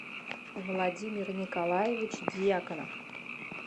владимир николаевич дьяконов